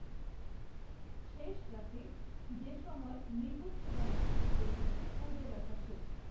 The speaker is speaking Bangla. শেষ রাতে যে সময়ে মৃগশিরা নক্ষত্র ভাসে পুবের আকাশে